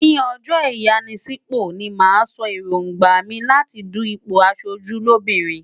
Ní ọjọ́ ìyanisípò ni màá sọ èróńgbà mi láti du ipò aṣojú lóbìnrin.